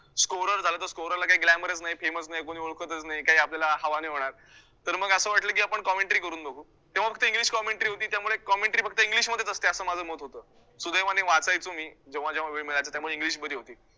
झालं तर ला काय glamour च नाही fem च नाही कोणी ओळखतचं नाही काय आपल्याला हवा नाही होणार तर मग असं वाटलं की आपण commentary करून बघु तेव्हा फक्त english commentary होती त्यामुळे commentary फक्त english मध्येच असते असं माझं मत होतं, सुदैवाने वाचायचो मी जेव्हा जेव्हा वेळ मिळायचा तेव्हा english मध्ये होती.